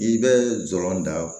I bɛ jɔrɔ da